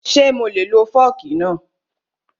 Ṣé mo lè lo fọ́ọ̀kì náà?